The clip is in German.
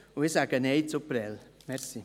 Ich sage Nein zu Prêles.